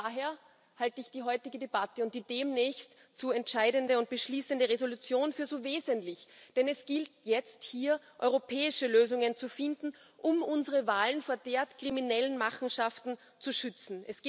Daher halte ich die heutige Debatte und die demnächst zu entscheidende und beschließende Entschließung für so wesentlich, denn es gilt jetzt, hier europäische Lösungen zu finden, um unsere Wahlen vor derart kriminellen Machenschaften zu schützen.